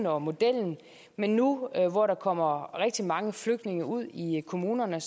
og modellen men nu hvor der kommer rigtig mange flygtninge ud i kommunerne